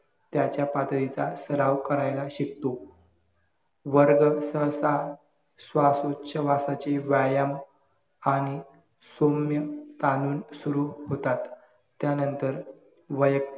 त्याच्या पातळीचा सराव करायला शिकतो. वर्ग सहसा श्वासोच्छवासाचे व्यायाम आणि सौम्य तालीम सुरु होतात. त्यानंतर वै